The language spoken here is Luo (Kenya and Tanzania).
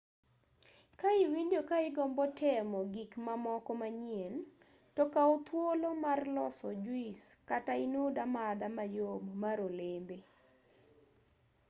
ka iwinjo ka igombo temo gik mamoko manyien to kaw thuolo mar loso juis kata inud amadha mayom mar olembe